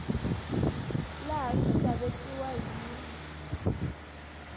laha swi nga vekiwa hi